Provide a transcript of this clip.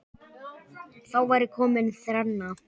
Þá væri komin þrenna.